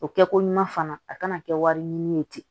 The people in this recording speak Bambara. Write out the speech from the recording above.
O kɛ ko ɲuman fana a kana kɛ wari ɲini ye ten